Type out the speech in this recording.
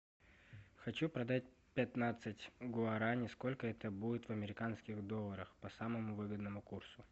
хочу продать пятнадцать гуарани сколько это будет в американских долларах по самому выгодному курсу